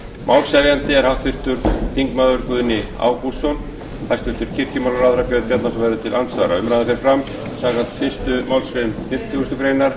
málshefjandi er háttvirtur þingmaður guðni ágústsson hæstvirtur kirkjumálaráðherra björn bjarnason verður til andsvara umræðan fer fram samkvæmt fyrstu málsgrein fimmtugustu grein